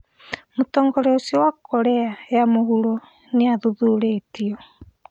Mũtongoria ũcio wa Korea ya mũhuro nĩathuthurĩtio